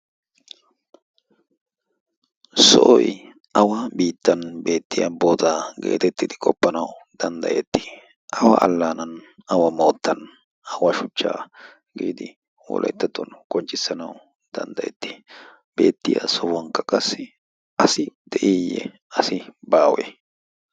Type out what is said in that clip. sohoy awa biittan beettiya bootaa geetettidi qoppanau danddayettii? awa allaanan awa moottan awa shuchchaa giidi hulettattuwan konccissanawu danddayettii beettiya sohuwankka qassi asi de'iiyye asi baawe?